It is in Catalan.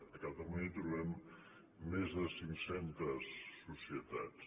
a catalunya trobem més de cinc centes societats